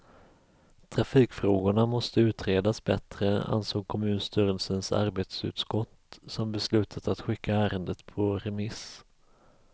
Trafikfrågorna måste utredas bättre, ansåg kommunstyrelsens arbetsutskott, som beslutat att skicka ärendet på remiss.